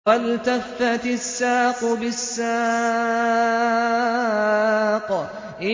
وَالْتَفَّتِ السَّاقُ بِالسَّاقِ